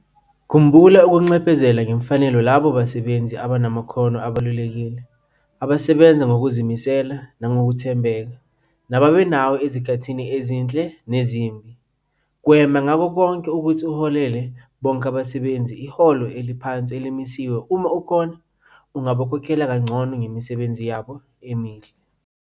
Khumbula ukunxephezela ngemfanelo labo basebenzi abanamakhono abalulekile, abasebenza ngokuzimisela nangokuthembeka nababe nawe ezikhathini ezinhle nezimbi. Gwema ngakho konke ukuthi uholele bonke abasebenzi iholo eliphansi elimisiwe uma kukhona abangakhokhelwa kangcono ngomsebenzi wabo omuhle.